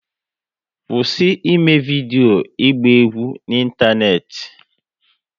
Kwụsị eme vidio ịgba egwu n'Ịntaneti!